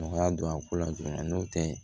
Nɔgɔya don a ko la dɔrɔn n'o tɛ